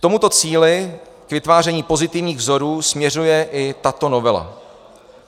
K tomuto cíli, k vytváření pozitivních vzorů, směřuje i tato novela.